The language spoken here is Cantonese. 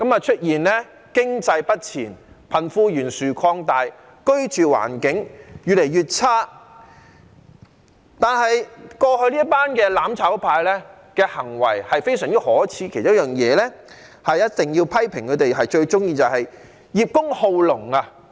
出現了經濟不前，貧富懸殊擴大，居住環境越來越差，但是，過去這群"攬炒派"的行為非常可耻，其中一件事我一定要批評他們，就是他們最喜歡葉公好龍。